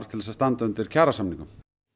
til að standa undir kjarasamningum